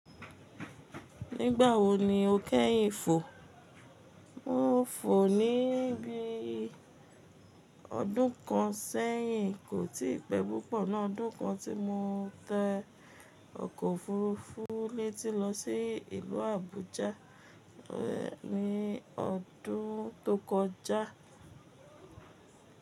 Nígbà wo ni o kẹ́yìn fò? Mo fò ní bí i ọdún kan sẹ́yìn, kò tí pẹ́ púpọ̀ ná. Ọdún kan tí mo tẹ ọkọ̀ òfuurufú létí lọ sí ìlú Àbújá ní ọdún tó kọjá.